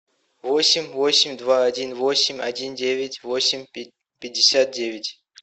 восемь восемь два один восемь один девять восемь пятьдесят девять